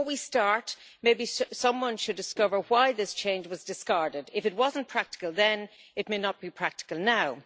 Before we start, maybe someone should discover why this change was discarded. If it was not practical then, it may not be practical now'.